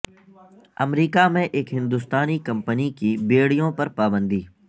امریکہ میں ایک ہندوستانی کمپنی کی بیڑیوں پر پابندی